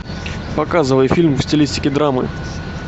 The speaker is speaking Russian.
показывай фильм в стилистике драмы